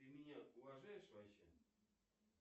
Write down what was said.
ты меня уважаешь вообще